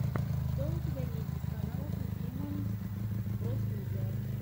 что у тебя есть из каналов ефима бростудио